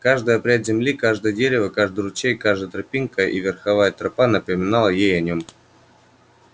каждая пядь земли каждое дерево и каждый ручей каждая тропинка и верховая тропа напоминали ей о нём